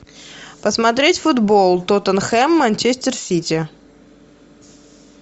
посмотреть футбол тоттенхем манчестер сити